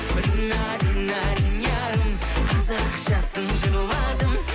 рина рина ринярым қазақшасын жырладым